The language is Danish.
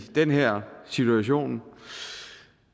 den her situation